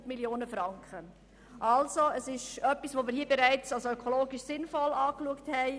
Wir unterbreiten Ihnen somit etwas, das hier bereits als ökologisch sinnvoll betrachtet wurde.